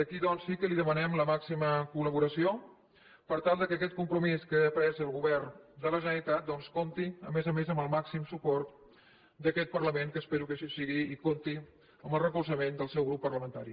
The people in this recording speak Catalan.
aquí doncs sí que li demanem la màxima col·laboració per tal que aquest compromís que ha pres el govern de la generalitat comp ti a més a més amb el màxim suport d’aquest parlament que espero que així sigui i compti amb el recolzament del seu grup parlamentari